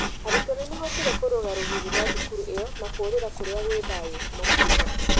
Arutwo nĩ mahootire kũrũga rũgiri rwa thukuru ĩyo na kũrĩra kũrĩa gwĩ thayũ, makiuga.